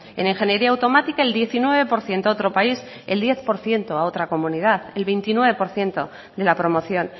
en ingeniería automática el diecinueve por ciento a otro país el diez por ciento a otra comunidad el veintinueve por ciento de la promoción